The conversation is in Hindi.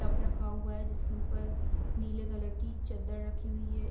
टब रखा हुआ है जिसके ऊपर नीले कलर की चद्दर रखी हुई है।